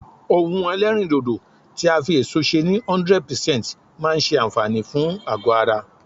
ohun elerindodo ti a fi eso se ni 100% maa n se anfaani fun ago ara